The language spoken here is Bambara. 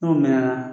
N'o mɛnna